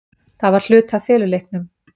Það var hluti af feluleiknum.